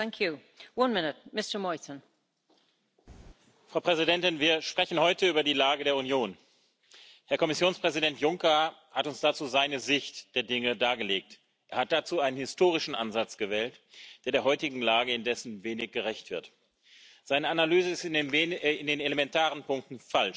framework. Great Britain is Northern Ireland's largest market place, where we sell more than in the Republic of Ireland, the rest of Europe and the rest of the world put together. Equally, 70 of everything that comes